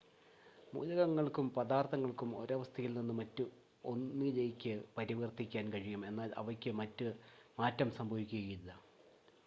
മൂലകങ്ങൾക്കും പദാർത്ഥങ്ങൾക്കും ഒരവസ്ഥയിൽനിന്ന് മറ്റ് 1 ലേയ്ക്ക് പരിവർത്തിക്കാൻ കഴിയും എന്നാൽ അവയ്ക്ക് മാറ്റം സംഭവിക്കുകയില്ല